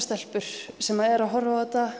stelpur sem eru að horfa